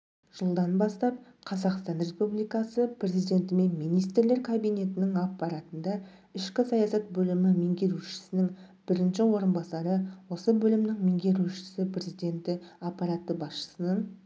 жылданбастап қазақстан республикасы президенті мен министрлер кабинетінің аппаратында ішкі саясат бөлімі меңгерушісінің бірінші орынбасары осы бөлімнің меңгерушісі президенті аппараты басшысының